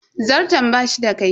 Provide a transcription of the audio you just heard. Zarton bashi da kaifi.